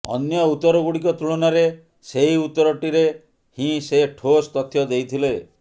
ଅନ୍ୟ ଉତ୍ତରଗୁଡ଼ିକ ତୁଳନାରେ ସେହି ଉତ୍ତରଟିରେ ହିଁ ସେ ଠୋସ୍ ତଥ୍ୟ ଦେଇଥିଲେ